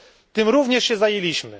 Tym również się zajęliśmy.